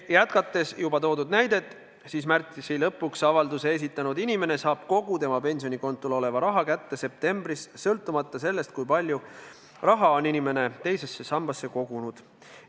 Jätkates juba toodud näidet: märtsi lõpuks avalduse esitanud inimene saab kogu tema pensionikontol oleva raha kätte septembris, sõltumata sellest, kui palju raha on inimene teise sambasse kogunud.